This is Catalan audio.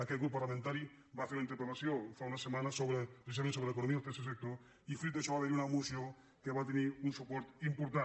aquest grup parlamentari va fer una interpel·lació fa unes setmanes precisament sobre economia al tercer sector i fruit d’això va haver hi una moció que va tenir un suport important